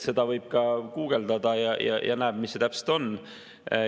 Seda võib guugeldada ja siis näeb, mis see täpselt on.